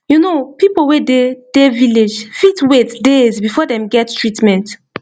you know people wey dey dey village fit wait days before dem get treatment